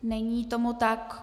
Není tomu tak.